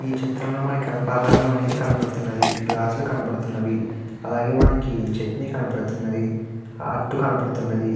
ఈ చిత్రంలో మనకి అల్పాహారం అనేది కనపడుతున్నది. గ్లాస్ లు కనపడుతున్నవి. అలాగే మనకి చట్నీ కనపడుతున్నది. హా అటు కనబడుతున్నది.